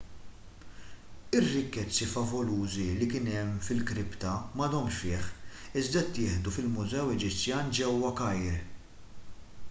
ir-rikkezzi favolużi li kien hemm fil-kripta m'għadhomx fih iżda ttieħdu fil-mużew eġizzjan ġewwa kajr